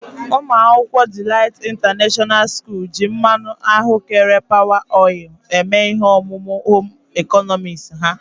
Umuakwukwo Delight International school ji mmanụ ahụ́kere Power oil eme ihe omume Home ịkọnọmiks ha.